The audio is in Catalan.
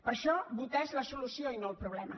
per això votar és la solució i no el problema